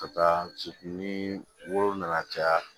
Ka taa se ni woro na na caya